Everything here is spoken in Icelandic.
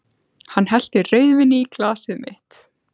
Hann hellti rauðvíni í glasið mitt.